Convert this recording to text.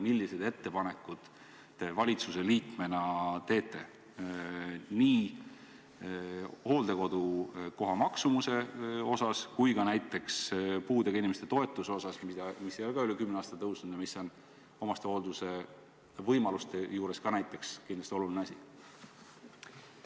Milliseid ettepanekuid te valitsuse liikmena teete nii hooldekodukoha maksumuse kohta kui ka näiteks puudega inimeste toetuse suhtes, mis ei ole samuti üle kümne aasta tõusnud, aga on omastehoolduse võimaluste juures kindlasti oluline asi?